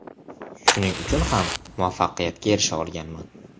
Shuning uchun ham muvaffaqiyatga erisha olganman.